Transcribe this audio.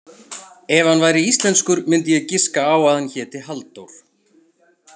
Ef hann væri íslenskur myndi ég giska á að hann héti Halldór.